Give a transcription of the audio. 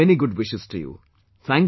Doctor, many good wishes to you